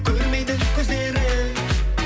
көрмейді көздері